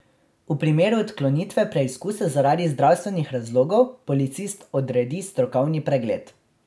V primeru odklonitve preizkusa zaradi zdravstvenih razlogov policist odredi strokovni pregled.